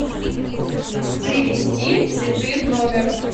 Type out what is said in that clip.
привезти цветы в номер